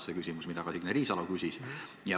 See on küsimus, mida ka Signe Riisalo küsis.